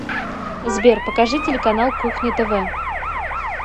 сбер покажи телеканал кухня тв